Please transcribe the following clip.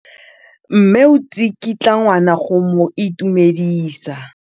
Mme o tsikitla ngwana go mo itumedisa.